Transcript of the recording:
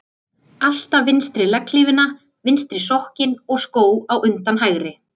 Alltaf vinstri legghlífina, vinstri sokkinn og skó á undan hægri.